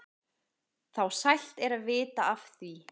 þá sælt er að vita af því.